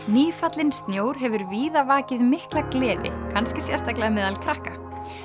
nýfallinn snjór hefur víða vakið mikla gleði kannski sérstaklega meðal krakka